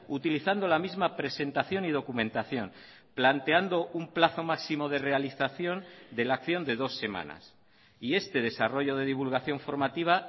utilizando la misma presentación y documentación planteando un plazo máximo de realización de la acción de dos semanas y este desarrollo de divulgación formativa